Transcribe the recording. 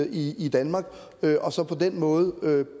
i i danmark og så på den måde